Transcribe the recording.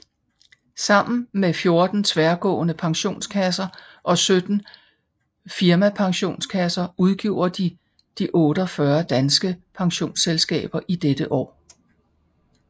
Sammen med 14 tværgående pensionskasser og 17 firmapensionskasser udgjorde de de 48 danske pensionsselskaber i dette år